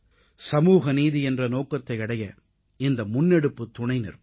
சமூகநீதி என்ற நோக்கத்தை அடைய இந்த முன்னெடுப்பு துணை நிற்கும்